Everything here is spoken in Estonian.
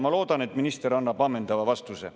Ma loodan, et minister annab ammendava vastuse.